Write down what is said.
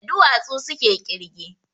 Da duwatsu suke ƙirge